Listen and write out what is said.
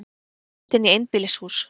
Brotist inn í einbýlishús